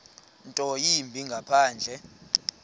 nto yimbi ngaphandle